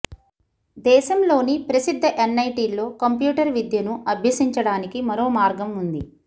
దేశంలోని ప్రసిద్ధ ఎన్ఐటీల్లో కంప్యూటర్ విద్యను అభ్యసించడానికి మరో మార్గం ఉంది